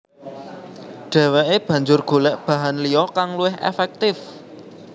Dheweke banjur golek bahan liya kang luwih efektif